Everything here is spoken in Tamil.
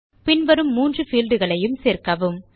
பின் வரும் 3 பீல்ட் களையும் சேர்க்கவும்